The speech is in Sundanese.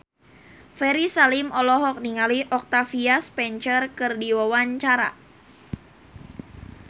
Ferry Salim olohok ningali Octavia Spencer keur diwawancara